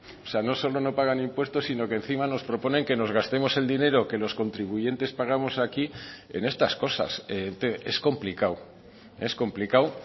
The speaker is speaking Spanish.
o sea no solo no pagan impuestos sino que encima nos proponen que nos gastemos el dinero que los contribuyentes pagamos aquí en estas cosas es complicado es complicado